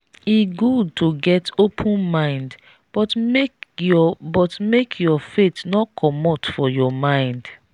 e good to get open-mind but make your but make your faith no comot for your mind.